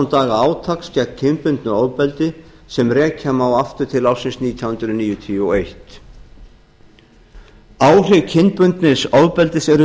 ára átaks gegn kynbundnu ofbeldi sem rekja má aftur til ársins nítján hundruð níutíu og eitt áhrif kynbundins ofbeldis eru